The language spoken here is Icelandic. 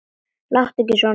Láttu ekki svona